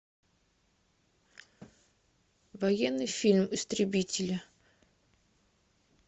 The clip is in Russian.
военный фильм истребители